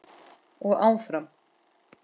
Og áfram.